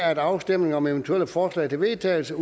at afstemning om eventuelle forslag til vedtagelse